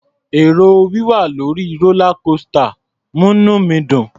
È̀rò wíwà lórí rólá kósità ń múní mi dùn.